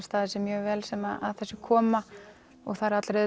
staðið sig mjög vel sem að þessu koma það eru allir að